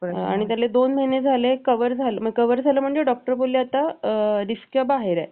आणि त्याला दोन महिने झाले cover झालं म्हणजे doctor बोलले आता risk च्या बाहेर आहे